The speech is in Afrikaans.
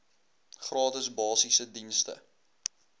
gratis basiese dienste